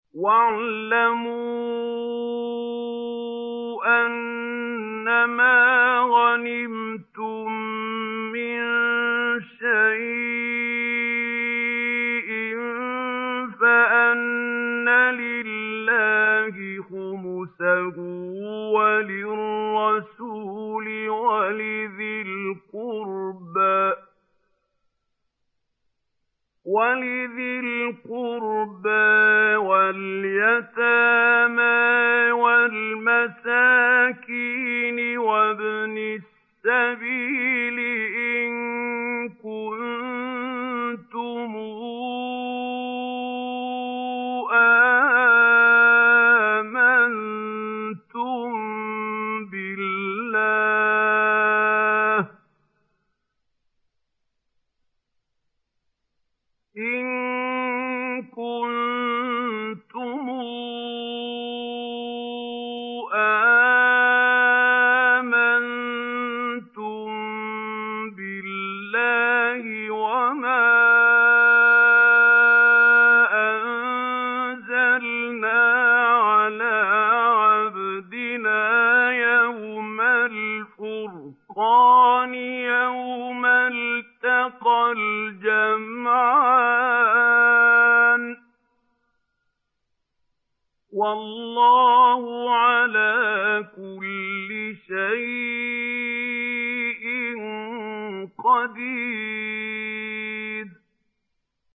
۞ وَاعْلَمُوا أَنَّمَا غَنِمْتُم مِّن شَيْءٍ فَأَنَّ لِلَّهِ خُمُسَهُ وَلِلرَّسُولِ وَلِذِي الْقُرْبَىٰ وَالْيَتَامَىٰ وَالْمَسَاكِينِ وَابْنِ السَّبِيلِ إِن كُنتُمْ آمَنتُم بِاللَّهِ وَمَا أَنزَلْنَا عَلَىٰ عَبْدِنَا يَوْمَ الْفُرْقَانِ يَوْمَ الْتَقَى الْجَمْعَانِ ۗ وَاللَّهُ عَلَىٰ كُلِّ شَيْءٍ قَدِيرٌ